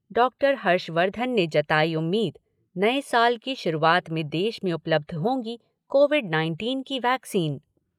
Doctor Harshvardhan ने जताई उम्मीद नए साल की शुरूआत में देश में उपलब्ध होंगी कोविड नाइनटीन की वैक्सीन।